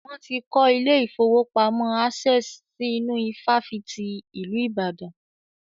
Wọ́n ti kọ́ ilé ìfọwọ́pamo Access si inú ifáfitì ìlú Ìbàdàn.